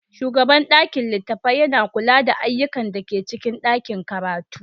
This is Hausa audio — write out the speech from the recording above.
Shugaban ɗakin littatafai yana kula da ayyukan da ke cikin ɗakin karatu.